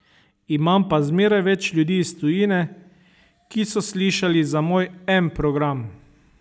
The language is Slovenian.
Imam pa zmeraj več ljudi iz tujine, ki so slišali za moj M program.